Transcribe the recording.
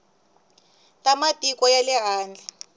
ta matiko ya le handle